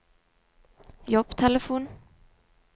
jobbtelefon